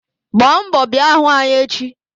Gbaa mbọ bịa hụ anyị echi!